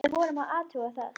Við vorum að athuga það.